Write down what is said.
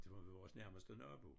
Til vores nærmeste nabo